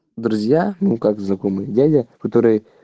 друзья ну как знакомый дядя который